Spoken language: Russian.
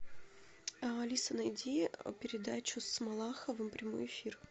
алиса найди передачу с малаховым прямой эфир